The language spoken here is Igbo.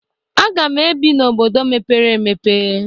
Aga m ebi n'Obodo mèpéré èmèpé